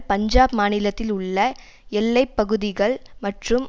பஞ்சாப் மாநிலத்தில் உள்ள எல்லை பகுதிகள் மற்றும்